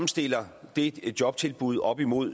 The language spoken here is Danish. stiller det jobtilbud op imod